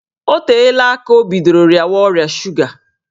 Ọ teela aka o bidoro rịawa ọrịa suga